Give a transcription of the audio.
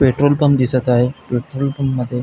petrol pump दिसत आहे petrol pump मध्ये --